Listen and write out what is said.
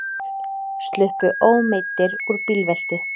Sluppu ómeiddir úr bílveltu